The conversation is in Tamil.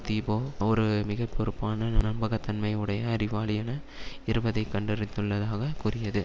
தீபோ ஒரு மிக பொறுப்பான நம்பகத்தன்மை உடைய அறிவாளி என இருப்பதை கண்டறிந்துள்ளதாகக் கூறியது